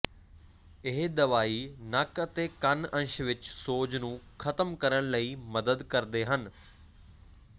ਇਹ ਦਵਾਈ ਨੱਕ ਅਤੇ ਕੰਨ ਅੰਸ਼ ਵਿੱਚ ਸੋਜ ਨੂੰ ਖ਼ਤਮ ਕਰਨ ਲਈ ਮਦਦ ਕਰਦੇ ਹਨ